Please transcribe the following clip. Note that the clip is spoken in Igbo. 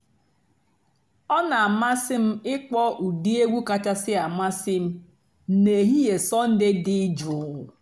ọ́ nà-àmásị́ m ị̀kpọ́ ụ́dị́ ègwú kàchàsị́ àmásị́ m n'èhìhè sọ́ndée dị́ jụ́ụ́.